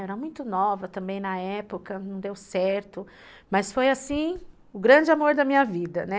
Eu era muito nova também na época, não deu certo, mas foi assim o grande amor da minha vida, né?